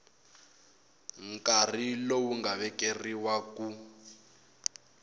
nkarhi lowu nga vekeriwa ku